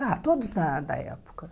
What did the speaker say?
Ah, todos da da época.